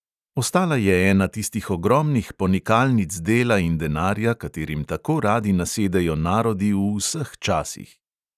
Ostala je ena tistih ogromnih ponikalnic dela in denarja, katerim tako radi nasedejo narodi v vseh časih.